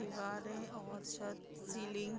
दीवार है और शायद सीलिंग --